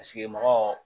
Paseke mɔgɔ